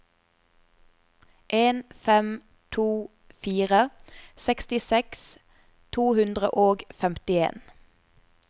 en fem to fire sekstiseks to hundre og femtien